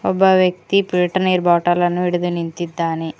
ಒಬ್ಬ ವ್ಯಕ್ತಿ ಫಿಲ್ಟರ್ ನೀರು ಬಾಟಲನ್ನು ಹಿಡಿದು ನಿಂತಿದ್ದಾನೆ.